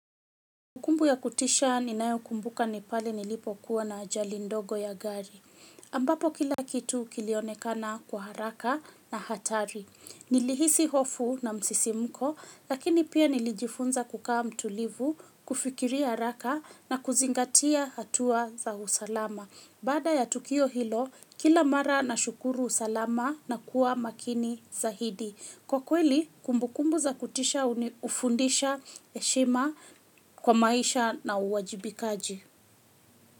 Kumbu ya kutisha ninayo kumbuka nipale nilipokuwa na ajali ndogo ya gari. Ambapo kila kitu kilionekana kwa haraka na hatari. Nilihisi hofu na msisimuko, lakini pia nilijifunza kukaa mtulivu, kufikiri haraka na kuzingatia hatua za usalama. Bada ya tukio hilo, kila mara na shukuru usalama na kuwa makini za hidi. Kwa kweli, kumbu kumbu za kutisha ufundisha heshima kwa maisha na uwajibikaji.